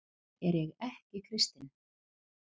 Er ég ekki kristinn?